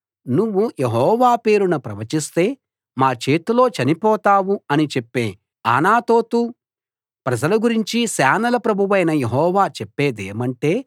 నువ్వు యెహోవా పేరున ప్రవచిస్తే మా చేతిలో చనిపోతావు అని చెప్పే అనాతోతు ప్రజల గురించి సేనల ప్రభువైన యెహోవా చెప్పేదేమంటే